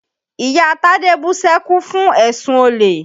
Ìyá Tádé bú sẹ́kún fún èsùn olè.